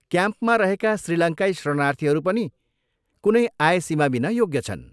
क्याम्पमा रहेका श्रीलङ्काई शरणार्थीहरू पनि कुनै आय सीमाबिना योग्य छन्।